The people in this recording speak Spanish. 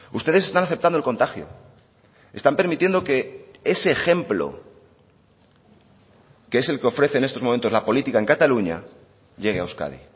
ustedes están aceptando el contagio están permitiendo que ese ejemplo que es el que ofrece en estos momentos la política en cataluña llegue a euskadi